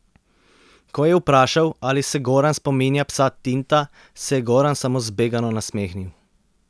Ko je vprašal, ali se Goran spominja psa Tinta, se je Goran samo zbegano nasmehnil.